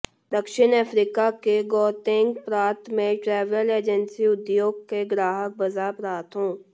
दक्षिण अफ्रीका के गौतेंग प्रांत में ट्रैवल एजेंसी उद्योग के ग्राहक बाजार प्रथाओं